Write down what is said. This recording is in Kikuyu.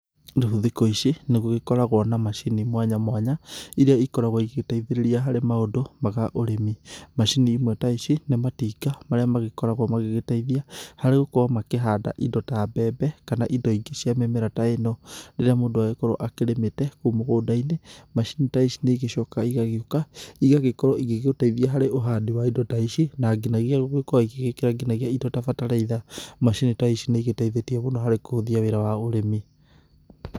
Rĩu thikũ ici nĩ gũgĩkoragwo na macini mwanya mwanya iria ikoragwo igĩgĩteithĩrĩria harĩ maũndũ ma ũrĩmi. Macini imwe ta ici nĩ matinga marĩa magĩkoragwo magĩteithia harĩ gũkorwo makĩhanda indo ta mbembe kana indo ingĩ cia mĩmera ta ĩno rĩrĩa mũndũ agĩkorwo akĩrĩmĩte kou mũgũnda-inĩ. Macini ta ici nĩ igĩcokaga igagĩũka igagĩkorwo igĩgĩteithia harĩ ũhandi wa indo ta ici na nginyagia gũkorwo igĩgĩkĩra nginyagia indo ta bataraitha. Macini ta ici nĩ igĩteithĩtie mũno harĩ kũhũthia wĩra wa ũrĩmi.